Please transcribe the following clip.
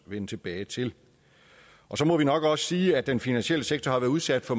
vende tilbage til så må vi nok også sige at den finansielle sektor har været udsat for